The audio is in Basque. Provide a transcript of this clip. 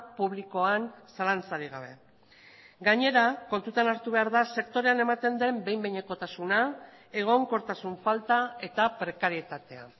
publikoan zalantzarik gabe gainera kontutan hartu behar da sektorean ematen den behin behinekotasuna egonkortasun falta eta prekarietatea